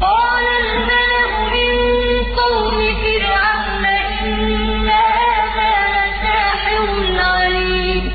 قَالَ الْمَلَأُ مِن قَوْمِ فِرْعَوْنَ إِنَّ هَٰذَا لَسَاحِرٌ عَلِيمٌ